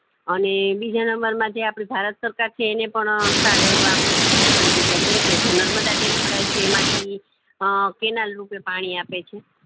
અને બીજા number માં જે આપડી ભારત સરકાર છે એને પણ સારા એવા ફાયદા કરી દીધા છે કે જે નર્મદા dam રાય છે એમાંથી અ canal રૂપી પાણી આપે છે